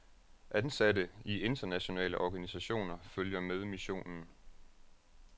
Ansatte i internationale organisationer følger med missionen.